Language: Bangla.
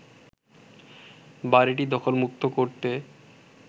বড়িটি দখলমুক্ত করতে